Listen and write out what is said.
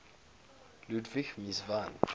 ludwig mies van